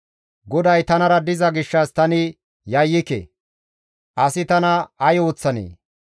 GODAY tanara diza gishshas tani yayyike. Asi tana ay ooththanee?